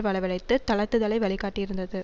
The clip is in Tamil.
வரவழைத்து தளர்த்துதலை வழிகாட்டியிருந்தது